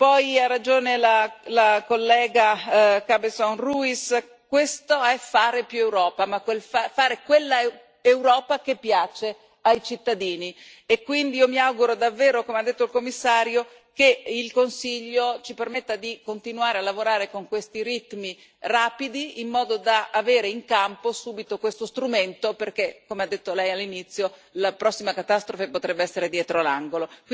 Poi ha ragione la collega Cabezón Ruiz, questo è fare più Europa, ma fare quella Europa che piace ai cittadini e quindi io mi auguro davvero, come ha detto il Commissario, che il Consiglio ci permetta di continuare a lavorare con questi ritmi rapidi, in modo da avere in campo subito questo strumento perché, come ha detto Lei all'inizio, la prossima catastrofe potrebbe essere dietro l'angolo.